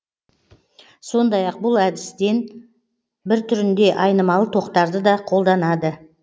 сондай ақ бұл әдістін бір түрінде айнымалы тоқтарды да қолданады